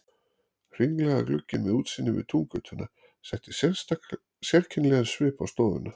Hringlaga gluggi með útsýni yfir Túngötuna setti sérkennilegan svip á stofuna.